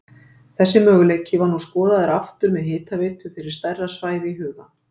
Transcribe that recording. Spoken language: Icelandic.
Þessi möguleiki var nú skoðaður aftur með hitaveitu fyrir stærra svæði í huga.